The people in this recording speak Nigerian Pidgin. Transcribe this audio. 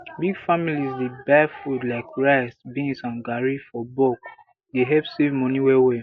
big families dey buy food like rice beans and garri for bulke dey help save money wellwell